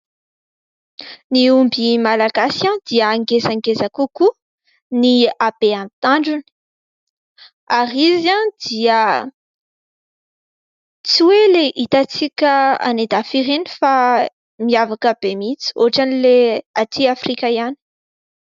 Ny omby malagasy dia ngezangeza kokoa ny habeany tandrony, ary izy dia tsy hoe ilay hitantsika any an-dafy ireny fa miavaka be mihitsy ohatra ilay aty Afrika ihany.